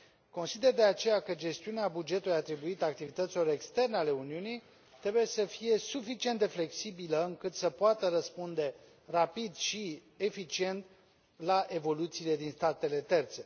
Consider de aceea că gestiunea bugetului atribuită activităților externe ale Uniunii trebuie să fie suficient de flexibilă încât să poată răspunde rapid și eficient la evoluțiile din statele terțe.